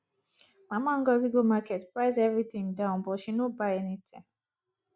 mama ngozi go market price every thing down but she no buy anything